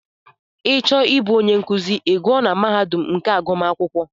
Ị chọọ ịbụ onye nkụzi I gụọ na mahadum nke agụmakwụkwọ.